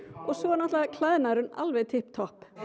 og svo er náttúrulega klæðnaðurinn alveg tipp topp